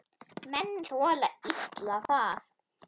Menn þola illa það.